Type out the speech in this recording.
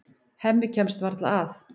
Hemmi kemst varla að.